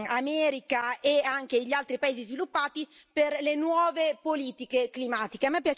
America e anche gli altri paesi sviluppati per le nuove politiche climatiche.